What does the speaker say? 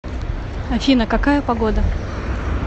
афина какая погода